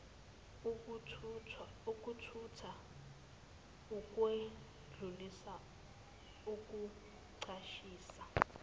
ukuthutha ukwedlulisa ukucashisa